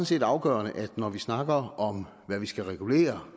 set afgørende at når vi snakker om hvad vi skal regulere